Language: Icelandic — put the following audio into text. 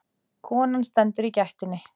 Konan stendur í gættinni.